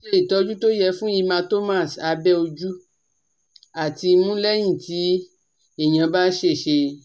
So ìtọ́jú tó yẹ fún hematomas abe ojú àti imu leyin ti eyan ba sese